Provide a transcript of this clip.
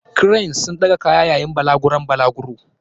Cranes sun ɗaga kaya yayin balaguron balaguro.